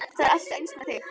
Það er alltaf eins með þig!